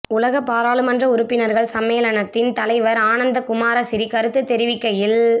உலக பாராளுமன்ற உறுப்பினர்கள் சம்மேளனத்தின் தலைவர் ஆனந்த குமாரசிறி கருத்து தெரிவிக்கையில்